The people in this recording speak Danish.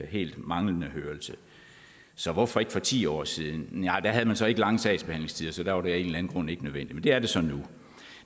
helt manglende hørelse så hvorfor ikke for ti år siden nej da havde man så ikke lange sagsbehandlingstider så der var det af grund ikke nødvendigt men det er det så nu